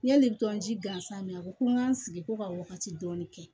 Yani i bi tɔnji gansan mɛn a ko n ka n sigi ko ka wagati dɔɔnin kɛ